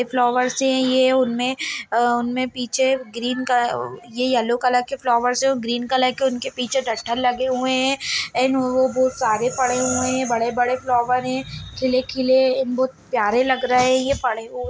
ये फ्लॉवर्स हैं ये उनमें अ उनमें पीछे ग्रीन कलर ये येल्लो कलर के फ्लॉवर्स हैं और ग्रीन कलर के उनके पीछे डठल लगे हुए हैं एंड वो बोहोत सारे पड़े हुए हैं। बड़े-बड़े फ्लॉवर हैं खिले-खिले बहोत प्यारे लग रहे हैं ये पड़े हुए --